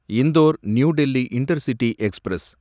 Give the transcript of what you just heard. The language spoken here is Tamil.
Indore New Delhi intercity express